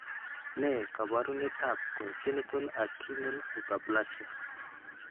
Ne kaabarunetap Congenital adrenal hyperplasia?